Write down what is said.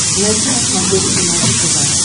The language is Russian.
найти на смотрешке наше тв